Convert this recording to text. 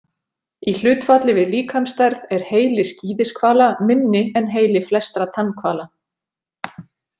Í hlutfalli við líkamsstærð er heili skíðishvala minni en heili flestra tannhvala.